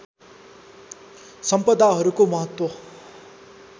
सम्पदाहरूको महत्त्व